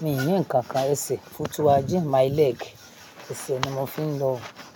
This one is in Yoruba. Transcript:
Mi ò ní ǹnkan kan ẹsẹ̀, footwajen my leg. Ẹsẹ̀ ni mo fi ń lọ.